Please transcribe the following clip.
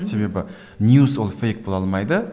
себебі ньюс ол фейк бола алмайды